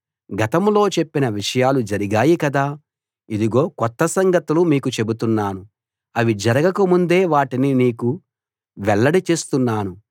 గతంలో చెప్పిన విషయాలు జరిగాయి కదా ఇదిగో కొత్త సంగతులు మీకు చెబుతున్నాను అవి జరగక ముందే వాటిని మీకు వెల్లడి చేస్తున్నాను